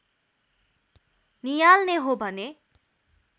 नियाल्ने हो भने